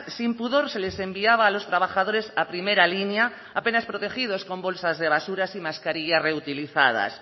sin pudor se les enviaba a los trabajadores a primera línea apenas protegidos con bolsas de basuras y mascarillas reutilizadas